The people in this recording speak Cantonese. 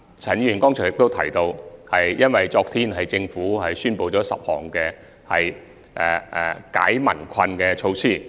陳議員剛才亦提及政府昨天所宣布的10項紓解民困措施。